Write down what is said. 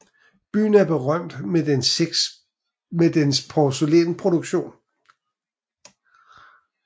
Byen er berømt med dens porcelænsproduktion